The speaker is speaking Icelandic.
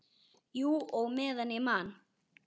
Jú, og meðan ég man.